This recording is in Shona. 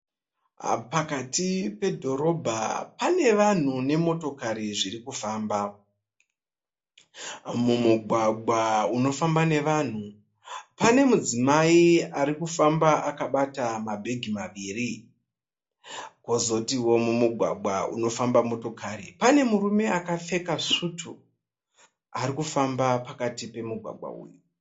Pakati pedhorobha pane vanhu nemotokari zvirikufamba. Mumugwagwa unofamba nevanhu pane mudzimai arikufamba akabata ma bhegi maviri, Kozotiwo mumugwagwa unofamba motokari, pane murume akapfeka sutu arikufamba pakati pe mumugwagwa uyu.